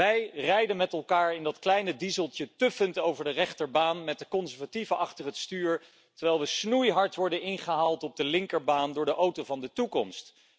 Wij rijden met elkaar in dat kleine dieseltje, tuffend over de rechterbaan met de conservatieven achter het stuur, terwijl we snoeihard worden ingehaald op de linkerbaan door de auto van de toekomst.